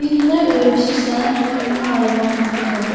Birinə öyrəşirsən, ondan ayrılmaq mümkün olmur.